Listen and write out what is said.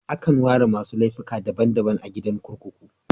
Akan ware masu laifuka daban daban a gidan kurkuku.